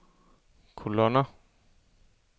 kolonner